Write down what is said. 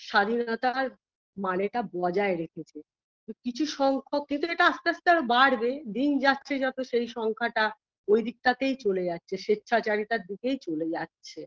স্বাধীনতার মানেটা বজায় রেখেছে কিছু সংখ্যা কিন্তু এটা আস্তে আস্তে আরো বাড়বে দিন যাচ্ছে যত সেই সংখ্যাটা ওই দিকটাতেই চলে যাচ্ছে স্বেচ্ছাচারিতার দিকেই চলে যাচ্ছে